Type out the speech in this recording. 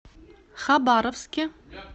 хабаровске